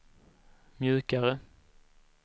mjukare